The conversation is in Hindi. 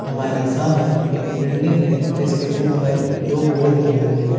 हमारे सामने एक बिलडिंग है जिसके ऊपर दो बोर्ड लगी हुई है।